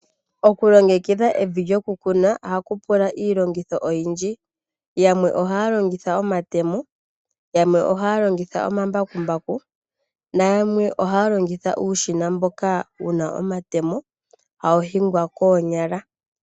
Okulongekidha evi lyoku kuna ohaku pula iilongitho oyindji yamwe ohaya longitha omatemo, yamwe ohaya longitha omambakumbaku noyamwe ohaya longitha uushina mboka wuna omatemo hawu hingwa koonyala.